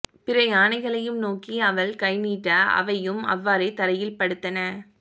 பிற யானைகளையும் நோக்கி அவள் கைநீட்ட அவையும் அவ்வாறே தரையில் படுத்தன